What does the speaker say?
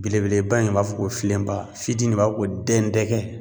Belebeleba in b'a fɔ ko filenba fitin de b'a fɔ ko dɛn dɛgɛ